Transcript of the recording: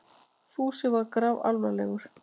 Fúsi var grafalvarlegur.